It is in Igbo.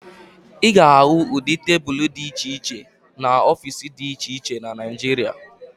Ị ga-ahụ ụdị tebulu dị iche iche n'ọfiisi dị iche iche na Naịjirịa